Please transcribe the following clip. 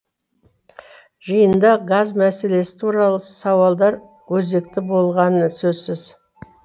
жиында газ мәселесі туралы сауалдар өзекті болғаны сөзсіз